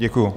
Děkuji.